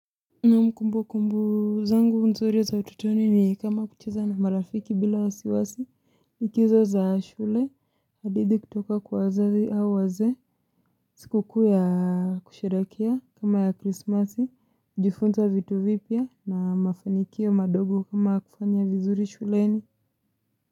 Naam kumbukumbu zangu nzuri za utotoni ni kama kucheza na marafiki bila wasiwasi, likizo za shule, hadithi kutoka kwa wazazi au wazee, siku kuu ya kusherehekea kama ya krismasi, jifunza vitu vipya na mafanikio madogo kama kufanya vizuri shuleni.